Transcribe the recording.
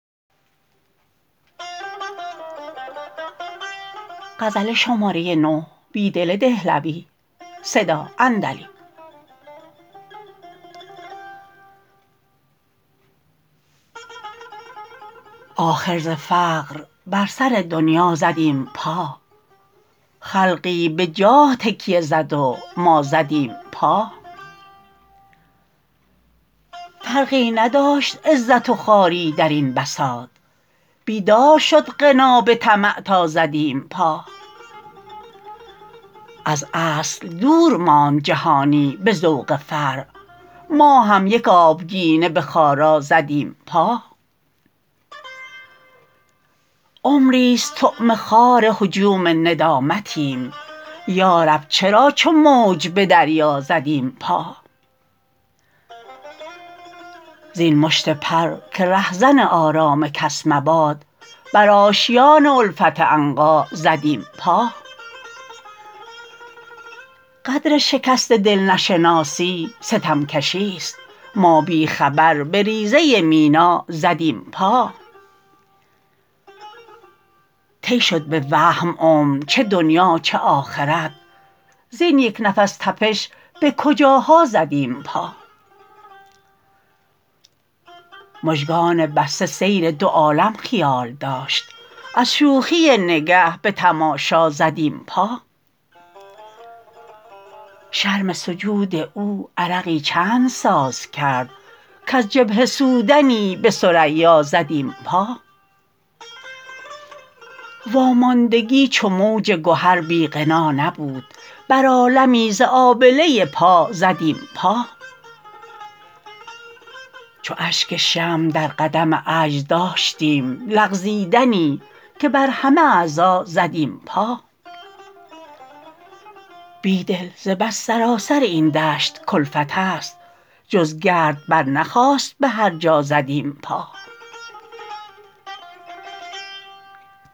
آخر ز فقر بر سر دنیا زدیم پا خلقی به جاه تکیه زد و ما زدیم پا فرقی نداشت عز ت و خو اری در این بساط بیدار شد غنا به طمع تا زدیم پا از اصل دور ماند جهانی به ذوق فرع ما هم یک آبگینه به خارا زدیم پا عمری ست طعمه خوار هجوم ندامتیم یارب چرا چو موج به دریا زدیم پا زین مشت پر که رهزن آرام کس مباد بر آشیان الفت عنقا زدیم پا قدر شکست دل نشناسی ستمکشی ست ما بی خبر به ریزه مینا زدیم پا طی شد به وهم عمر چه دنیا چه آخرت زین یک نفس تپش به کجاها زدیم پا مژگان بسته سیر دو عالم خیال داشت از شوخی نگه به تماشا زدیم پا شرم سجود او عرقی چند ساز کرد کز جبهه سودنی به ثریا زدیم پا واماندگی چو موج گهر بی غنا نبود بر عالمی ز آبله پا زدیم پا چون اشک شمع در قدم عجز داشتیم لغزیدنی که بر همه اعضا زدیم پا بیدل ز بس سراسر این دشت کلفت است جز گرد برنخاست به هرجا زدیم پا